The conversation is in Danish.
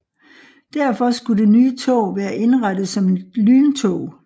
Derfor skulle det nye tog være indrettet som et lyntog